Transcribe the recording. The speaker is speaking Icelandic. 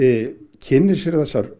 kynni sér þessar